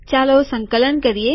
ચાલો સંકલન કરીએ